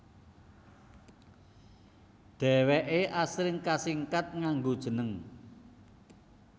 Dhèwèké asring kasingkat nganggo jeneng